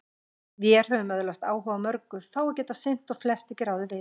Vér höfum öðlast áhuga á mörgu, fáu getað sinnt og flest ekki ráðið við.